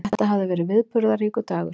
Þetta hafði verið viðburðaríkur dagur.